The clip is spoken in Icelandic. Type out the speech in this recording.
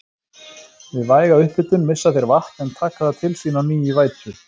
Við væga upphitun missa þeir vatn en taka það til sín á ný í vætu.